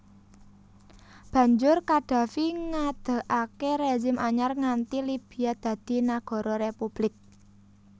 Banjur Qaddafi ngadegaké rezim anyar ngganti Libya dadi Nagara Republik